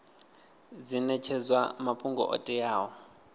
dzi netshedzwa mafhungo o teaho